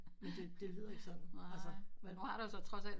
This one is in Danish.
Det lyder ikke sådan